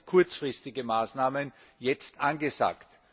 Daher sind kurzfristige Maßnahmen jetzt angesagt.